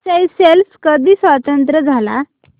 Seychelles कधी स्वतंत्र झाला